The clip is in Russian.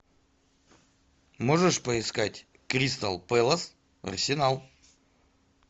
можешь поискать кристал пэлас арсенал